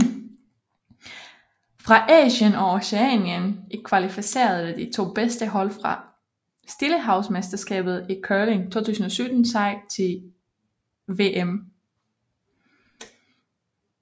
Fra Asien og Oceanien kvalificerede de to bedste hold fra Stillehavsmesterskabet i curling 2017 sig til VM